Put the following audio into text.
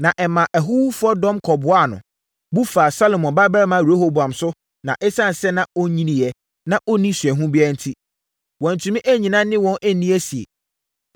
Na ɛmaa ahuhufoɔ dɔm kɔboaa no, bu faa Salomo babarima Rehoboam so na ɛsiane sɛ na ɔnyiniiɛ, na ɔnni osuahunu biara enti, wantumi annyina ne wɔn anni asie.